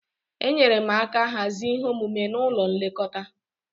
Enyere m aka hazie ihe omume n'ụlọ nlekọta.